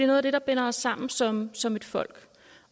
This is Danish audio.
noget af det der binder os sammen som som et folk